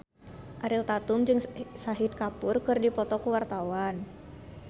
Ariel Tatum jeung Shahid Kapoor keur dipoto ku wartawan